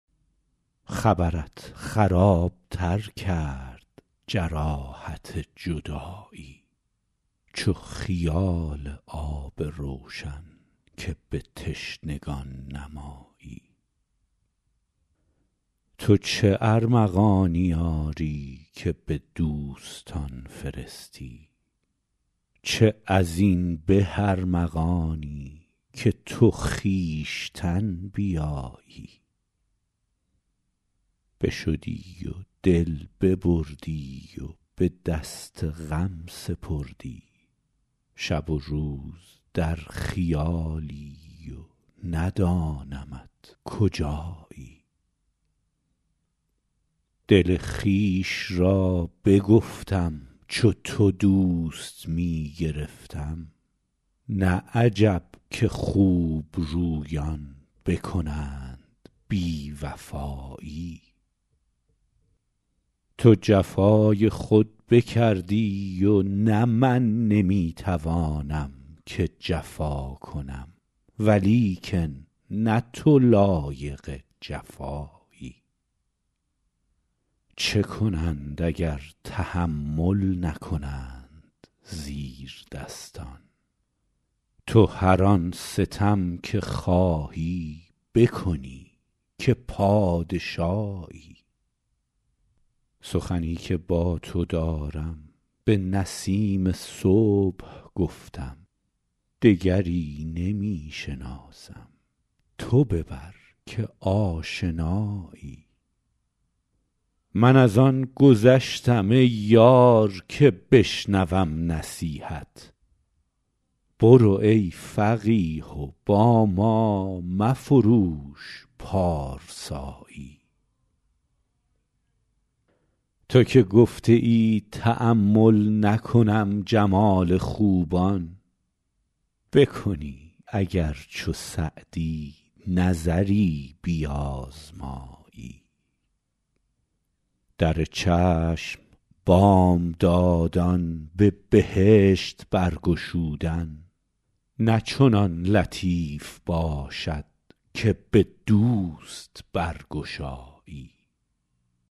خبرت خراب تر کرد جراحت جدایی چو خیال آب روشن که به تشنگان نمایی تو چه ارمغانی آری که به دوستان فرستی چه از این به ارمغانی که تو خویشتن بیایی بشدی و دل ببردی و به دست غم سپردی شب و روز در خیالی و ندانمت کجایی دل خویش را بگفتم چو تو دوست می گرفتم نه عجب که خوبرویان بکنند بی وفایی تو جفای خود بکردی و نه من نمی توانم که جفا کنم ولیکن نه تو لایق جفایی چه کنند اگر تحمل نکنند زیردستان تو هر آن ستم که خواهی بکنی که پادشایی سخنی که با تو دارم به نسیم صبح گفتم دگری نمی شناسم تو ببر که آشنایی من از آن گذشتم ای یار که بشنوم نصیحت برو ای فقیه و با ما مفروش پارسایی تو که گفته ای تأمل نکنم جمال خوبان بکنی اگر چو سعدی نظری بیازمایی در چشم بامدادان به بهشت برگشودن نه چنان لطیف باشد که به دوست برگشایی